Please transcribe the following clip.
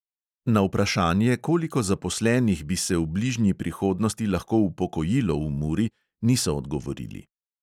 Na vprašanje, koliko zaposlenih bi se v bližnji prihodnosti lahko upokojilo v muri, niso odgovorili.